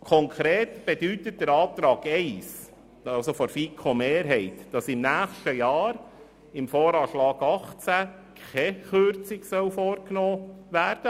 Konkret bedeutet der Antrag 1 der FiKo-Mehrheit, dass im kommenden Jahr im VA 2018 keine Kürzung vorgenommen wird.